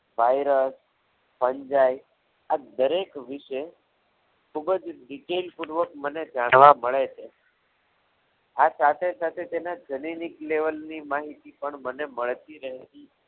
Virus આ દરેક વિષય ખૂબ જ detail પૂર્વક મને જાણવા મળે છે આ સાથે સાથે તેના જનનીક લેવલ ની માહિતી પણ મને મળતી રહે છે.